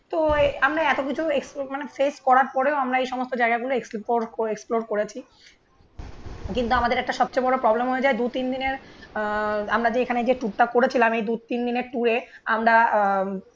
তো আমরা এত কিছু এক্সপো মানে ফেস করার পরেও আমরা এই সমস্ত জায়গাগুলো এক্সপ্লোএক্সপ্লোর করেছি কিন্তু আমাদের একটা সবচেয়ে বড় প্রবলেম হয়ে যায় দু তিন দিনের আ আমরা যে এখানে যে টুকটাক করেছিলাম এই দু তিন দিনের টুরে আমরা